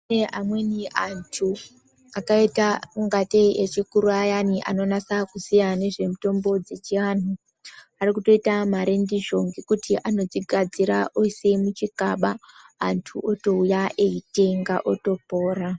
Kune amweni antu akaita kungatei echikuru ayani anonasa kuziya nezvemutambo dzeechianhu ari kutoita mare ndizvo nekuti anodzigadzira oisa muchigaba antu otouya eyitenga otopora.